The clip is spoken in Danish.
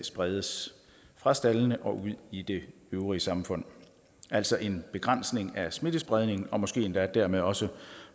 spredes fra staldene og ud i det øvrige samfund altså en begrænsning af smittespredningen måske endda dermed også